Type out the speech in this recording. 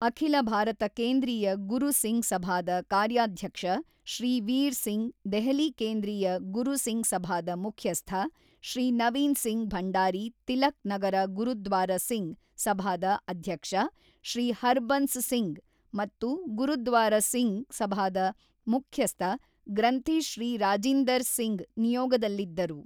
ಅಖಿಲ ಭಾರತ ಕೇಂದ್ರೀಯ ಗುರು ಸಿಂಗ್ ಸಭಾದ ಕಾರ್ಯಾಧ್ಯಕ್ಷ ಶ್ರೀ ವೀರ್ ಸಿಂಗ್ ದೆಹಲಿ ಕೇಂದ್ರೀಯ ಗುರು ಸಿಂಗ್ ಸಭಾದ ಮುಖ್ಯಸ್ಥ ಶ್ರೀ ನವೀನ್ ಸಿಂಗ್ ಭಂಡಾರಿ ತಿಲಕ್ ನಗರ ಗುರುದ್ವಾರ ಸಿಂಗ್ ಸಭಾದ ಅಧ್ಯಕ್ಷ ಶ್ರೀ ಹರ್ಬನ್ಸ್ ಸಿಂಗ್ ಮತ್ತು ಗುರುದ್ವಾರ ಸಿಂಗ್ ಸಭಾದ ಮುಖ್ಯಸ್ಥ ಗ್ರಂಥಿ ಶ್ರೀ ರಾಜಿಂದರ್ ಸಿಂಗ್ ನಿಯೋಗದಲ್ಲಿದ್ದರು.